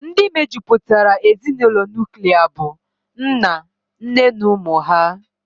Ndị mejupụtara ezinụlọ nuklia bụ nna, nne na ụmụ ha